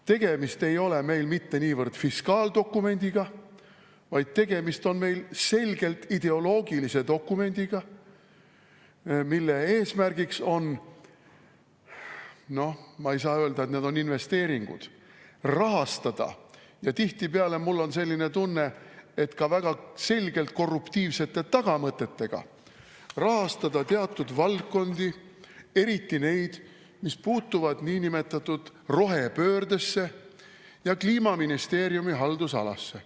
Tegemist ei ole meil mitte niivõrd fiskaaldokumendiga, vaid tegemist on selgelt ideoloogilise dokumendiga, mille eesmärk on – noh, ma ei saa öelda, et need on investeeringud – ka väga selgelt korruptiivsete tagamõtetega rahastada – tihtipeale mul on selline tunne – teatud valdkondi, eriti neid, mis puutuvad niinimetatud rohepöördesse ja Kliimaministeeriumi haldusalasse.